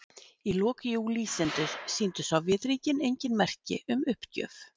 í lok júlí sýndu sovétríkin engin merki um uppgjöf